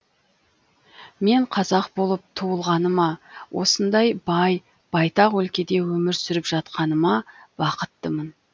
мен қазақ болып туылғаныма осындай бай байтақ өлкеде өмір сүріп жатқаныма бақыттымын